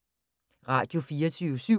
Radio24syv